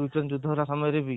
Ukraine ଯୁଧ୍ୟ ହେଲେ ସମୟରେ ବି